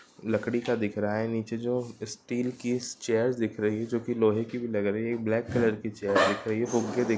लकड़ी का दिख रहा है नीचे जो स्टील की चेयर दिख रही है जो की लोहे की भी लग रही है। एक ब्लैक कलर की चेयर दिख रही है फुगे--